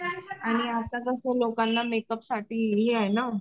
आणि आता कसं लोकांना मेकअप साठी हे आहे ना